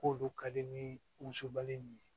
K'olu ka di ni wusubali in ye